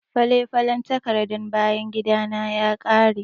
Fale-falen takardan bayan gidana ya ƙare.